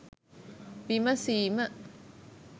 විමසීම